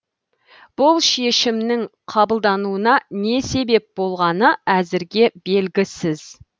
бұл шешімнің қабылдануына не себеп болғаны әзірге белгісіз